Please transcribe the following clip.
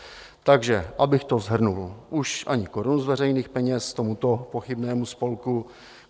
Takže abych to shrnul: už ani korunu z veřejných peněz tomuto pochybnému spolku.